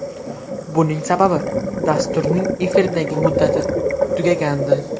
Buning sababi dasturning efirdagi muddati tugagandi.